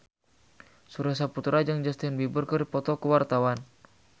Surya Saputra jeung Justin Beiber keur dipoto ku wartawan